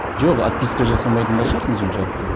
жоқ отписка жасамайтын да шығарсың соншалықты